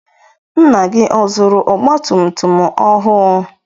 Nna gị ọ zụrụ ọgba tum tum ọhụụ?